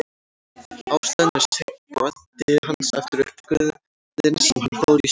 Ástæðan er seinn bati hans eftir uppskurðinn sem hann fór í í september.